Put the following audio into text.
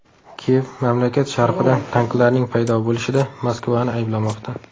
Kiyev mamlakat sharqida tanklarning paydo bo‘lishida Moskvani ayblamoqda.